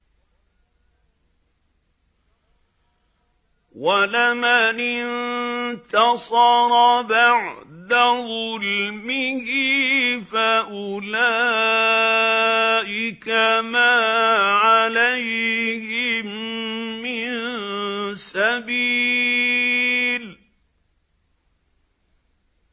وَلَمَنِ انتَصَرَ بَعْدَ ظُلْمِهِ فَأُولَٰئِكَ مَا عَلَيْهِم مِّن سَبِيلٍ